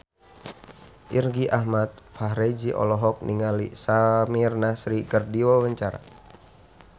Irgi Ahmad Fahrezi olohok ningali Samir Nasri keur diwawancara